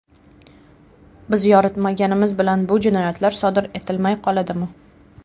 Biz yoritmaganimiz bilan bu jinoyatlar sodir etilmay qoladimi?